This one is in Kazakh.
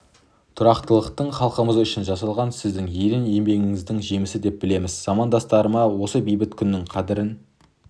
тұрақтылықтың халқымыз үшін жасалған сіздің ерен еңбегіңіздің жемісі деп білеміз замандастарыма осы бейбіт күннің қадірін